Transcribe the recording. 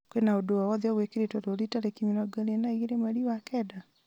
kwĩ na ũndũ o wothe ũgũĩkĩrĩtwo rũũri tarĩki mĩrongo ĩrĩ na igĩrĩ mweri wa kenda